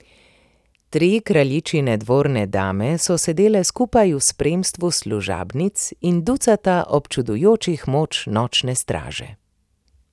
Tri kraljičine dvorne dame so sedele skupaj v spremstvu služabnic in ducata občudujočih mož Nočne straže.